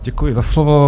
Děkuji za slovo.